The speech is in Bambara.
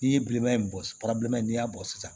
N'i ye bilenman in bɔ bilenman n'i y'a bɔ sisan